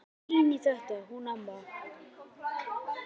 Hún er fín í þetta hún amma.